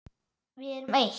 Við erum eitt.